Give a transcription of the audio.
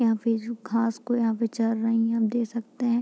यहाँ पे जो घास को जो चर रही है आप देख सकते है।